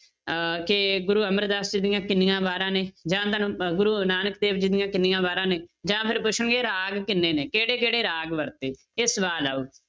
ਅਹ ਕਿ ਗੁਰੂ ਅਮਰਦਾਸ ਜੀ ਦੀਆਂ ਕਿੰਨੀਆਂ ਵਾਰਾਂ ਨੇ ਜਾਂ ਤੁਹਾਨੂੰ ਅਹ ਗੁਰੂ ਨਾਨਕ ਦੇਵ ਜੀ ਦੀਆਂ ਕਿੰਨੀਆਂ ਵਾਰਾਂ ਨੇ ਜਾਂ ਫਿਰ ਪੁੱਛਣਗੇ ਰਾਗ ਕਿੰਨੇ ਨੇ, ਕਿਹੜੇ ਕਿਹੜੇ ਰਾਗ ਵਰਤੇ ਇਹ ਸਵਾਲ ਆਊ।